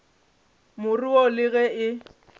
more wo le ge e